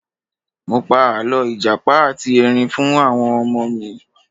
Mo pa àlọ́ ìjàpá ati Ẹrin fún àwọn ọmọ mi.